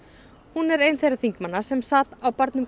hún er ein þeirra þingmanna sem sátu á barnum